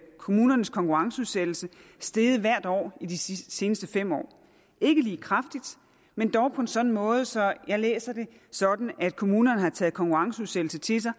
kommunernes konkurrenceudsættelse steget hvert år de seneste fem år ikke lige kraftigt men dog på en sådan måde så jeg læser det sådan at kommunerne har taget konkurrenceudsættelse til sig